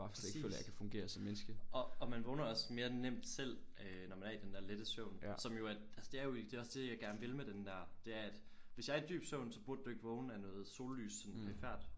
Præcis og og man vågner også mere nemt selv øh når man er i den der lette søvn som jo er altså det er jo det er også det jeg gerne vil med den der det er at hvis jeg er i dyb søvn så burde du ikke vågne af noget sollys sådan perifert